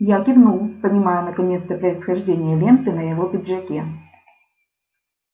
я кивнул понимая наконец-то происхождение ленты на его пиджаке